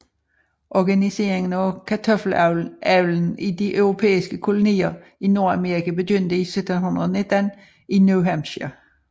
Organiseringen af kartoffelavlen i de europæiske kolonier i Nordamerika begyndte i 1719 i New Hampshire